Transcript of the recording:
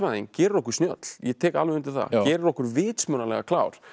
gerir okkur snjöll ég tek alveg undir það gerir okkur vitsmunalega klár